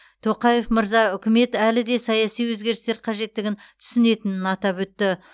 тоқаев мырза үкімет әлі де саяси өзгерістер қажеттігін түсінетінін атап өтті